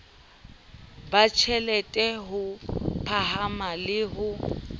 batjhelete ho phahama le ho